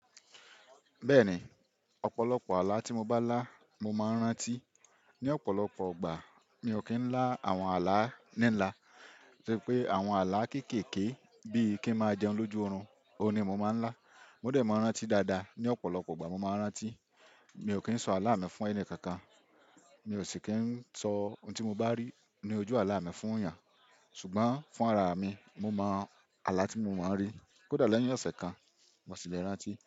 Bẹ́ẹ̀ni, ọ̀pọ̀lọpọ̀ àlá tí mo bá lá, mo máa ń rántí. Ni ọ̀pọ̀lọpọ̀ gbà, mi ò kí ń lá àwọn àlá ní ńlá. Sé pé àwọn àlá kékèké bí i kí ń máa jẹun lójú orun, òun ni mo máa ń lá. Mo dẹ̀ máa ń rántí dáadáa. Ni ọ̀pọ̀lọpọ̀ ọgbà, mo máa ń rántí. Mi ò kí ń sọ àlá mi fún ẹni kankan. Mi ò sì kí ń sọ ohun tí mo bá rí ní ojú àlá mi fún èèyàn. Ṣùgbọ́n fún ara mi, mo mọ àlá tí mo máa ń rí. Kódà lẹ́yìn ọ̀sẹ̀ kan, mo ṣì le rántí.